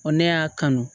ne y'a kanu